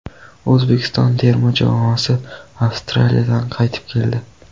O‘zbekiston terma jamoasi Avstraliyadan qaytib keldi.